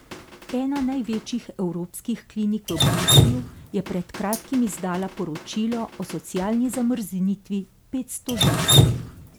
Ena največjih evropskih klinik v Bruslju je pred kratkim izdala poročilo o socialni zamrznitvi petsto žensk.